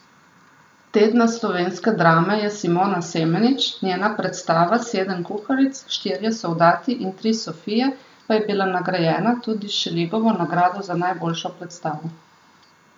Tedna slovenske drame je Simona Semenič, njena predstava Sedem kuharic, štirje soldati in tri sofije pa je bila nagrajena tudi s Šeligovo nagrado za najboljšo predstavo.